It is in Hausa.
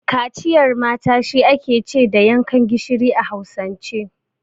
Kaciyar mata shi ake ce da yankan gishiri a Hausance.